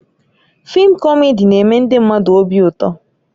Fịịm kọmedi na-eme ndị mmadụ obi ụtọ